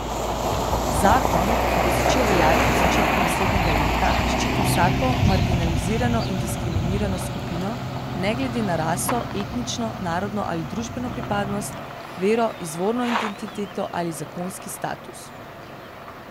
Zakon, ki bo začel veljati v začetku naslednjega leta, ščiti vsako marginalizirano in diskriminirano skupino, ne glede na raso, etnično, narodno ali družbeno pripadnost, vero, izvorno identiteto ali zakonski status.